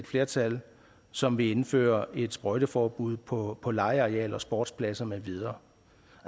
flertal som vil indføre et sprøjteforbud på på legearealer og sportspladser med videre